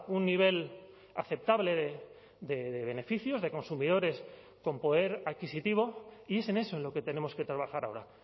un nivel aceptable de beneficios de consumidores con poder adquisitivo y es en eso en lo que tenemos que trabajar ahora